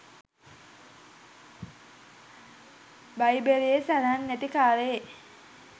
බයිබලයේ සදහන් නැති කාලයේ